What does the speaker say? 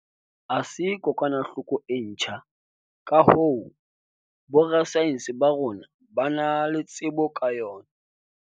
ha se kokwanahloko e ntjha, ka hoo, borasaense ba rona ba na le tsebo ka yona.